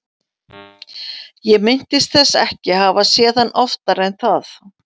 Ég minntist þess ekki að hafa séð hann oftar en það.